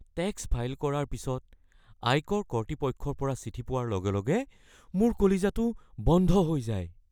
Tax file কৰাৰ পিছত আয়কৰ কৰ্তৃপক্ষৰ পৰা চিঠি পোৱাৰ লগে লগে মোৰ কলিজাটো বন্ধ হৈ যায়।